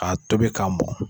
A tobi k'a mon